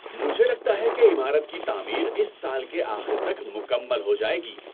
مجھے لگتا ہے کہ عمارت کی تعمیر اس سال کے آخر تک مکمل ہو جائے گی۔